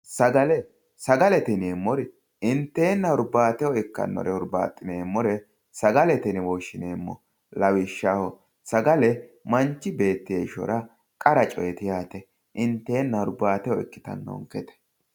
Sagale sagalete yineemmori inteenna hurbaateho ikkannore hurbaaxxineemmore sagalete yine woshshineemmo lawishshaho sagale manchi beetti heeshshora qara coyeeti yaate inteenna hurbaateho ikkitannonkete.